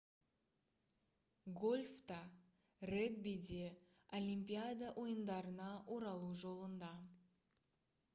гольф та регби де олимпиада ойындарына оралу жолында